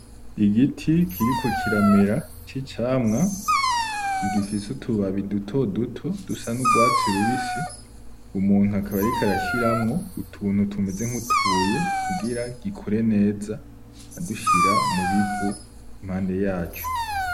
Igiti kiriko kiramera c'icamwa, kigifise utubabi duto duto dusa n'urwatsi rubisi, umuntu akaba ariko arashiramwo utuntu tumeze nkutubuye kugira gikore neza, adushira mubivu impande yaco.